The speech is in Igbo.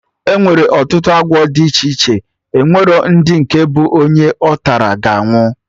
Enwere ọtụtụ agwọ dị iche iche, onwere ndị nke bụ onye ọtara, ga anwụ